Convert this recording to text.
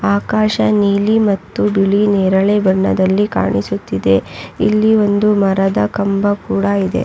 ಆಕಾಶ ನೀಲಿ ಮತ್ತು ಬಿಳಿ ನೇರಳೆ ಬಣ್ಣದಲ್ಲಿ ಕಾಣಿಸುತ್ತಿದೆ ಇಲ್ಲಿ ಒಂದು ಮರದ ಕಂಬ ಕೂಡ ಇದೆ .